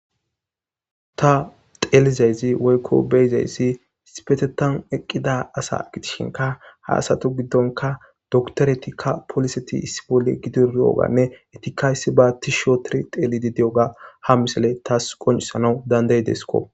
Ta xeelizaysi woyko beyozaysi issipetethan eqida asa gidishinka ha asata gidon dokiteretika poliseti issi bolla gididi diyoganne etika issiba tishi oothidi xeelidi dozaysa ha misiley tas qoncisana danda'idesko.